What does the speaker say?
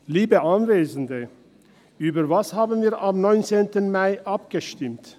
Liebe Anwesende, über was haben wir am 17. Mai abgestimmt?